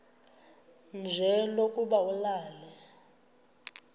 nje lokuba ulale